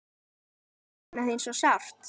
Ég sakna þín svo sárt.